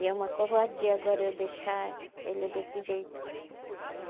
E é uma covardia agora eu deixar ele desse jeito.